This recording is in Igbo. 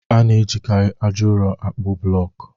A na-ejikarị aja ụrọ àkpú blọkụ